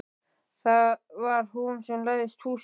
Það var hún sem læsti húsinu.